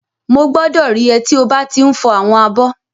Mo gbọdọ rí é tí o ba ti n fọ àwọn abọ́.